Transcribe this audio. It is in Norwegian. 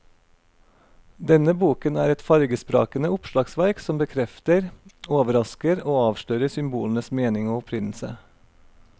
Denne boken er et fargesprakende oppslagsverk som bekrefter, overrasker og avslører symbolenes mening og opprinnelse.